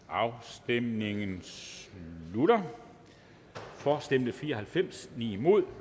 afstemningen slutter for stemte fire og halvfems imod